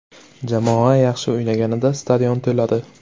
Jamoa yaxshi o‘ynaganida stadion to‘ladi.